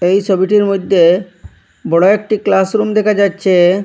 এই সবিটির মইধ্যে বড় একটি ক্লাসরুম দেখা যাচ্ছে।